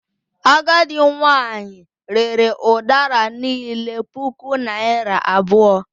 Agadị nwanyị rere udara niile puku naira abụọ.